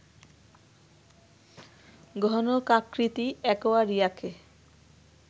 ঘণকাকৃতি অ্যাকোয়ারিয়াকে